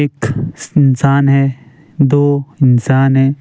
एक इंसान है दो इंसान है।